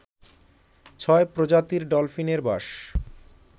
ছয় প্রজাতির ডলফিনের বাস